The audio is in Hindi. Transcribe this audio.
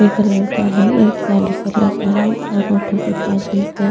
एक लड़का हैं एक काळे कलर का है और ऑटो के पास एक --